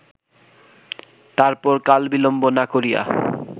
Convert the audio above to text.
তারপর কালবিলম্ব না করিয়া